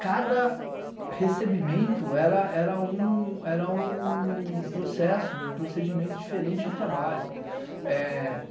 Cada recebimento era um processo, um procedimento diferente de trabalho.